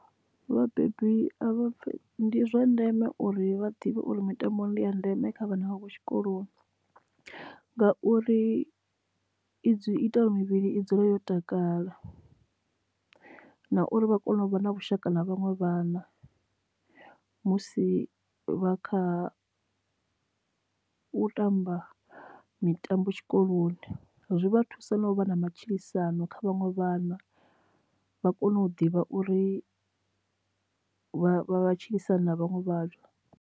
Vhabebi ndi zwa ndeme uri vha ḓivhe uri mitambo ndi a ndeme kha vhana vha kho tshikoloni. Ngauri i ita mivhili i dzule yo takala na uri vha kone u vha na vhushaka na vhaṅwe vhana musi vha kha u tamba mitambo tshikoloni zwi vha thusa no vha na matshilisano kha vhaṅwe vhana vha kone u ḓivha uri vha vha matshilisahani na vhaṅwe vhathu.